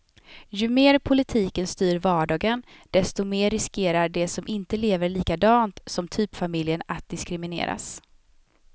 Ju mer politiken styr vardagen, desto mer riskerar de som inte lever likadant som typfamiljen att diskrimineras.